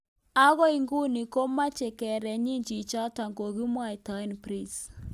Agoi nguno ko maicher kerenyi chichoto kokimwaitae, Prince.